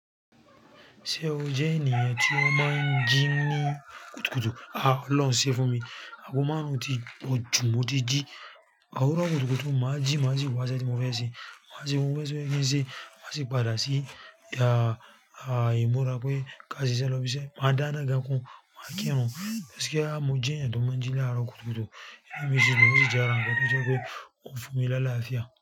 Ṣé o jẹ́ ènìyàn tí o máa ń jí ní kùtùkùtù? A ọlọ́rùn ṣe fún mi. Àgo máa run tí po jú mo ti jí. Òwúrò kùtùkùtù, máa jí, máa sì wá sé tí mo fẹ́ ṣe. Máa sì mú gbogbo iṣe to ye kí n ṣe, má sì padà sí, ya, èmi ó rà pé ká sì ṣe lọ́ bí i ṣe. Màá dá iná gan kun, máa kírun. Bẹ́ẹ̀ kí á, mo jẹ́ ènìyàn tó máa ń jí lárò kùtùkùtù. Èmi sì lò ó sì jẹ́ ara wọn kan tó jẹ́ pé ó ń fún mi láá lááfíà.